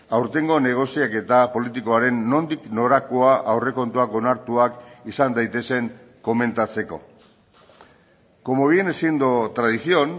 aurtengo negoziaketa politikoaren nondik norakoa aurrekontuak onartuak izan daitezen komentatzeko como viene siendo tradición